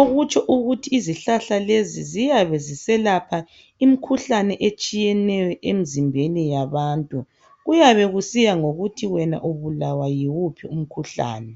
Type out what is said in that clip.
okutsho ukuthi izihlahla lezi ziyabe ziselapha imkhuhlane etshiyeneyo emzimbeni yabantu. Kuyabe kusiya ngokuthi wena ubulawa yiwuphi umkhuhlane.